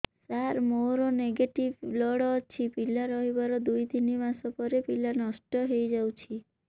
ସାର ମୋର negative blood ଅଛି ପିଲା ରହିବାର ଦୁଇ ତିନି ମାସ ପରେ ପିଲା ନଷ୍ଟ ହେଇ ଯାଉଛି